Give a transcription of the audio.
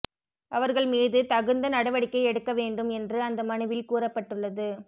அவர்கள் மீது தகுந்த நடவடிக்கை எடுக்க வேண்டும் என்று அந்த மனுவில் கூறப்பட்டுள்ளது